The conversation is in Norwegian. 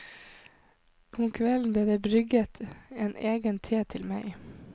Om kvelden ble det brygget en egen te til meg.